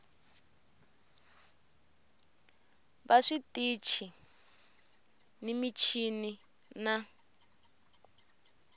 va switichi ni michini na